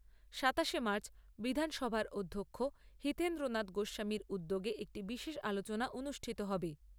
সাতাশে মার্চ বিধানসভার অধ্যক্ষ হিতেন্দ্র নাথ গোস্বামীর উদ্যোগে একটি বিশেষ আলোচনা অনুষ্ঠিত হবে।